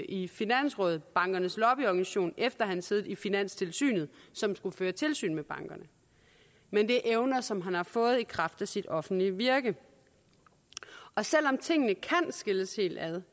i finansrådet bankernes lobbyorganisation efter at han havde siddet i finanstilsynet som skulle føre tilsyn med bankerne men det er evner som han har fået i kraft af sit offentlige virke selv om tingene kan skilles helt ad